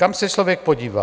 Kam se člověk podívá.